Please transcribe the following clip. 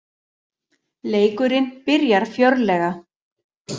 Leikurinn byrjar fjörlega